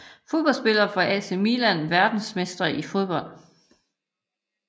Fodboldspillere fra AC Milan Verdensmestre i fodbold